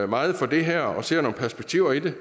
meget for det her og ser nogle perspektiver i det